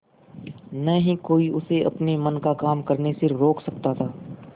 न ही कोई उसे अपने मन का काम करने से रोक सकता था